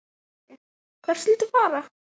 Sindri: Hvert viltu fara?